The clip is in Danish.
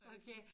Okay